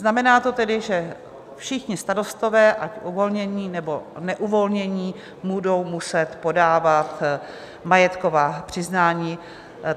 Znamená to tedy, že všichni starostové, ať uvolnění, nebo neuvolnění, budou muset podávat majetková přiznání.